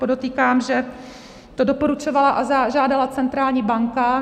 Podotýkám, že to doporučovala a žádala centrální banka.